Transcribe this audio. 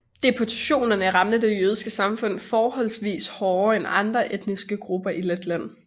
Deportationerne ramte det jødiske samfund forholdsvis hårdere end andre etniske grupper i Letland